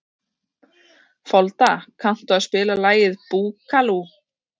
Folda, kanntu að spila lagið „Búkalú“?